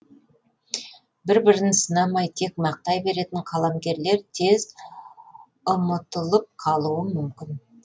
бір бірін сынамай тек мақтай беретін қаламгерлер тез ұмытылып қалуы мүмкін